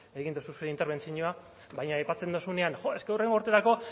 egin duzu zure interbentzioa baina aipatzen duzunean joe es ke hurrengo urterako